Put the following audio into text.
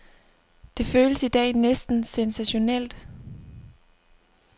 Det føles i dag næsten sensationelt.